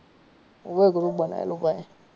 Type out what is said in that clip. હોવે ગ્રુપ બનાયેલુ ભાઈ.